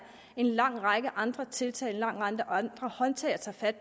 en lang række andre tiltag en lang række andre håndtag at tage fat